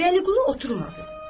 Vəliqulu oturmadı.